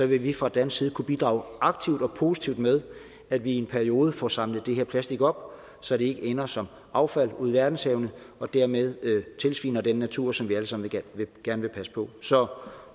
vil vi fra dansk side kunne bidrage aktivt og positivt med at vi i en periode får samlet det her plastik op så det ikke ender som affald ude i verdenshavene og dermed tilsviner den natur som vi alle sammen gerne vil passe på så